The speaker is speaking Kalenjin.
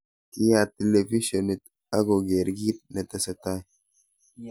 Kiyaat televishonit ak koger kiit ne tesetai.